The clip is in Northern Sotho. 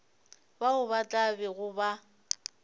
bao ba tla bego ba